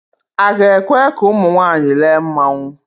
A ga-ekwe ka ụmụ nwaanyị lee mmanwụ